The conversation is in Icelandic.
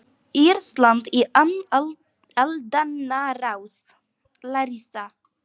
Ísland í aldanna rás.